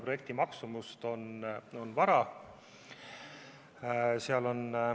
Projekti maksumust on täna veel vara hinnata.